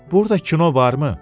Burda kino varmı?